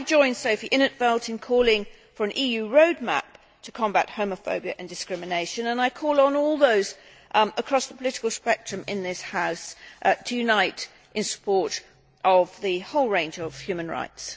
I join Sophie in 't Veld in calling for an EU road map to combat homophobia and discrimination and I call on everyone across the political spectrum in this House to unite in support of the whole range of human rights.